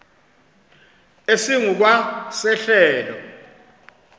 esingu kwa sehlelo